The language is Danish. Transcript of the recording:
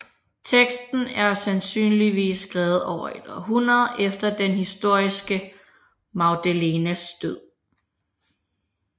Teksten er sandsynligvis skrevet over et århundrede efter den historiske Maria Magdalenes død